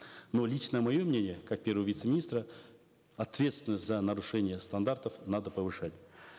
но лично мое мнение как первого вице министра ответственность за нарушение стандартов надо повышать